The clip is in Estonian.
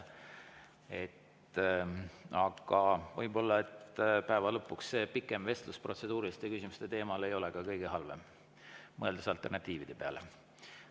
Aga võib-olla päeva lõpuks pikem vestlus protseduuriliste küsimuste teemal ei ole kõige halvem, kui mõelda alternatiivide peale.